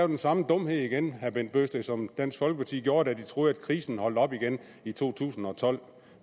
den samme dumhed igen herre bent bøgsted som dansk folkeparti gjorde da de troede at krisen holdt op igen i to tusind og tolv